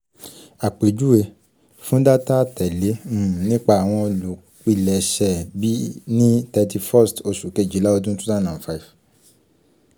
awọn akẹkọ yoo loye iyatọ laarin gbogbo awọn ọna mẹta lati apejuwe atẹle